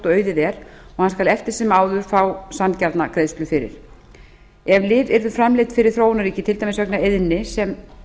auðið er og hann skal eftir sem áður fá sanngjarna greiðslu fyrir ef lyf yrðu framleidd fyrir þróunarríki til dæmis vegna eyðni sem